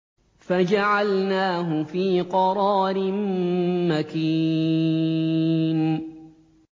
فَجَعَلْنَاهُ فِي قَرَارٍ مَّكِينٍ